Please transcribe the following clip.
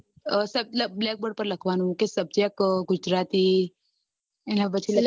black board પર લખવાનું કે subject ગુજરાતી એના પછી લખવાનું